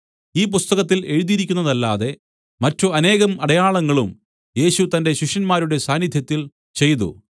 ഈ പുസ്തകത്തിൽ എഴുതിയിരിക്കുന്നതല്ലാതെ മറ്റു അനേകം അടയാളങ്ങളും യേശു തന്റെ ശിഷ്യന്മാരുടെ സാന്നിദ്ധ്യത്തിൽ ചെയ്തു